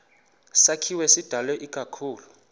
sakhiwo sidalwe ikakhulu